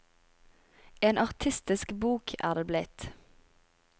En artistisk bok er det blitt.